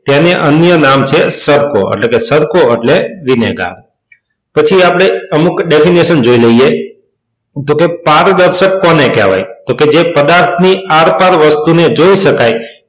તેનું અન્ય નામ છે સરકો એટલે કે સરકો એટલે વિનેગર. પછી આપણે અમુક definition જોઈ લઈએ તો કે પારદર્શક કોને કહેવાય તો જે પદાર્થની વસ્તુની આરપાર જોઈ શકાય.